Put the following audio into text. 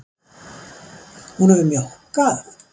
Hún hefur mjókkað.